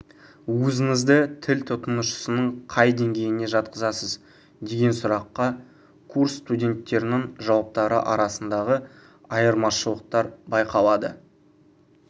өзіңізді тіл тұтынушысының қай деңгейіне жатқызасыз деген сұраққа курс студенттердің жауаптары арасындағы айырмашылықтар байқалады